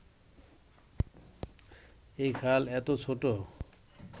এই খাল এতো ছোট